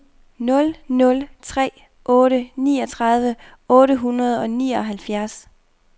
nul nul tre otte niogtredive otte hundrede og nioghalvfjerds